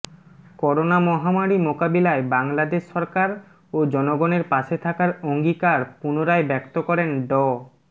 corona মহামারি মোকাবিলায় বাংলাদেশ সরকার ও জনগণের পাশে থাকার অঙ্গীকার পুনরায় ব্যক্ত করেন ড